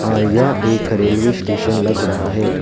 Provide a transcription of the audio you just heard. यह एक railway station लग रहा है।